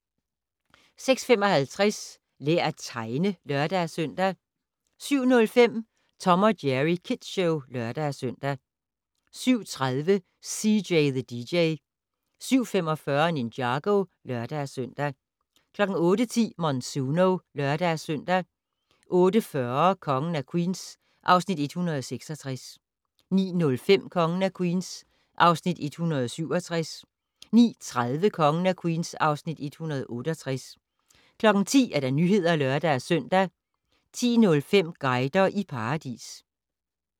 06:55: Lær at tegne (lør-søn) 07:05: Tom & Jerry Kids Show (lør-søn) 07:30: CJ the DJ 07:45: Ninjago (lør-søn) 08:10: Monsuno (lør-søn) 08:40: Kongen af Queens (Afs. 166) 09:05: Kongen af Queens (Afs. 167) 09:30: Kongen af Queens (Afs. 168) 10:00: Nyhederne (lør-søn) 10:05: Guider i paradis